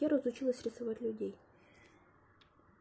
первое отучилась рисовать людей